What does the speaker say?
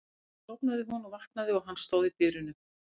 Og svo sofnaði hún og vaknaði og hann stóð í dyrunum.